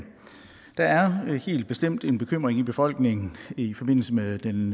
at der helt bestemt er en bekymring i befolkningen i forbindelse med den